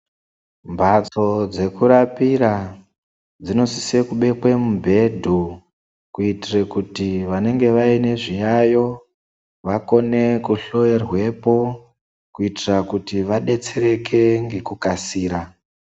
Mbatso dzekurapira dzinosise kubekwe mubhedhu kuitire kuti vanenge vaine zviyayo vakone kuhloyerwepo kuitira kuti vadetsereke ngekukasira.